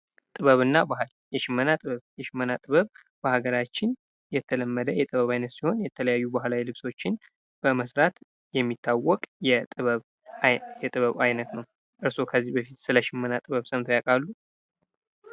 ጥበብ እና ባህል ፦ የሸመና ጥበብ ፦ የሽመና ጥበብ በሀገራችን የተለመደ የጥበቡ ዓይነት ሲሆን የተለያዩ ባህላዊ ልብሶችን መስራት የሚታወቅ የጥበብ አይነት ነው ። እርስዎ ከዚህ በፊት ስለ ሸመና ስራ ሰምተው ያውቃሉ ?